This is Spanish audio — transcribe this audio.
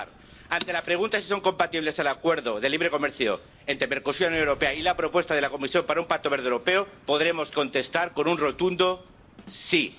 Y, para acabar, ante la pregunta de si son compatibles el Acuerdo de Libre Comercio entre Mercosur y la Unión Europea y la propuesta de la Comisión para un Pacto Verde Europeo, podremos contestar con un rotundo sí.